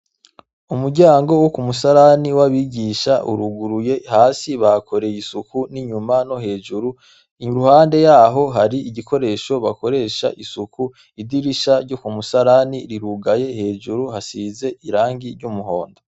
Umuryango wo ku musarani w'abigisha uruguruye, hasi bahakoreye isuku n'inyuma no hejuru, iruhande yaho hari igikoresho bakoresha isuku, idirisha ryo ku musarani rirugaye hejuru hasize irangi ry'umuhondo.